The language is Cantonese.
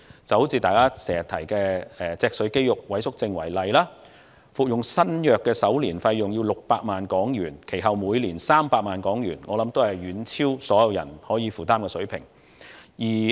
就像大家經常提及的脊髓肌肉萎縮症為例，服用新藥的首年費用為600萬港元，其後每年300萬港元，我想這是遠超大部分市民可以負擔的水平。